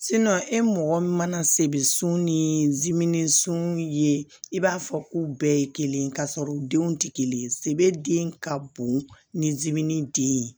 e mɔgɔ min mana sebun ni sun ye i b'a fɔ k'u bɛɛ ye kelen ye ka sɔrɔ u denw tɛ kelen ye sebe den ka bon ni den ye